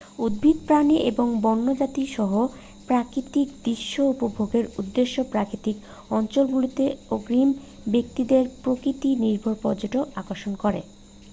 উদ্ভিদ প্রাণী এবং বন্যজীবন-সহ প্রাকৃতিক দৃশ্য উপভোগের উদ্দেশ্যে প্রাকৃতিক অঞ্চলগুলিতে আগ্রহী ব্যক্তিদের প্রকৃতি-নির্ভর পর্যটন আকর্ষণ করে